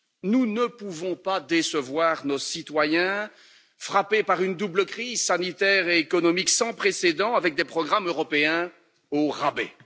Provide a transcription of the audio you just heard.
Nous ne pouvons pas décevoir nos citoyens frappés par une double crise sanitaire et économique sans précédent, avec des programmes européens au rabais.